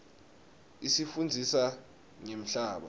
isifundzisa ngemhlaba